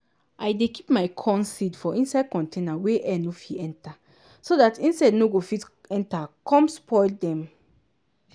i dey keep my corn seed for inside container wey air nir fit enter so dat insect nor go fit enter com spoil dem.